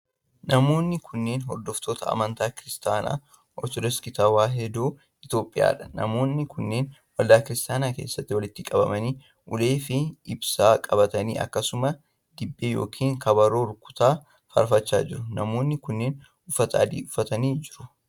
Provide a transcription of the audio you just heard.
Namoonni kunneen, hordoftoota amntaa Kiristaana Ortodooksii Tawaahidoo Itoophiyaa dha. Namoonni kunneen waldaa Kiristaanaa keessatti walitti qabamanii ,ulee fi ibsaa qabatanii akkasumas Dibbee yokin kabaroo rukutaa faarfachaa jiru. Namoonni kunneen uffata adii uffatanii jiru.